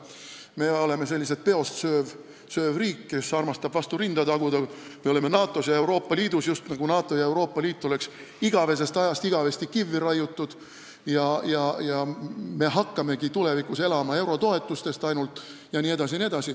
Me oleme selline peost sööv riik, kes armastab endale vastu rinda taguda: me oleme NATO-s ja Euroopa Liidus – just nagu NATO ja Euroopa Liit oleksid igavesest ajast igavesti kivvi raiutud –, me hakkamegi tulevikus elama ainult eurotoetustest jne.